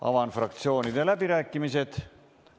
Avan fraktsioonide läbirääkimised.